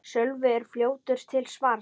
Sölvi er fljótur til svars.